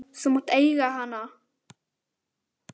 Þú mátt eiga hana!